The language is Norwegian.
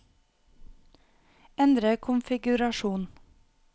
endre konfigurasjon